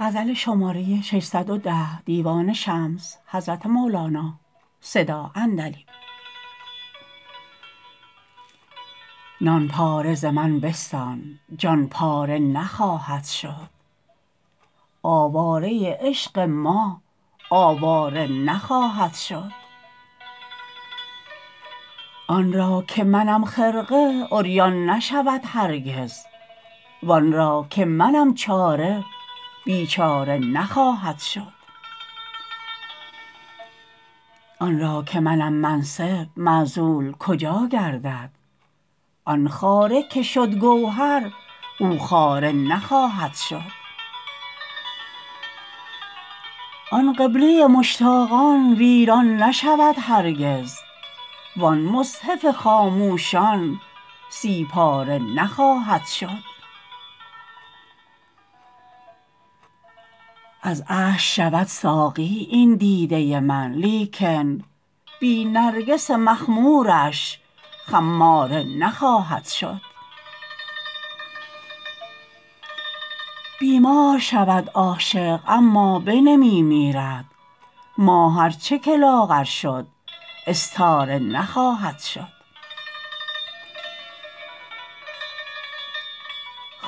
نان پاره ز من بستان جان پاره نخواهد شد آواره عشق ما آواره نخواهد شد آن را که منم خرقه عریان نشود هرگز وان را که منم چاره بیچاره نخواهد شد آن را که منم منصب معزول کجا گردد آن خاره که شد گوهر او خاره نخواهد شد آن قبله مشتاقان ویران نشود هرگز وان مصحف خاموشان سی پاره نخواهد شد از اشک شود ساقی این دیده من لیکن بی نرگس مخمورش خماره نخواهد شد بیمار شود عاشق اما بنمی میرد ماه ار چه که لاغر شد استاره نخواهد شد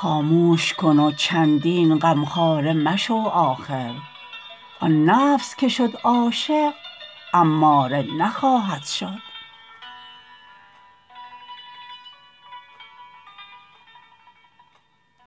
خاموش کن و چندین غمخواره مشو آخر آن نفس که شد عاشق اماره نخواهد شد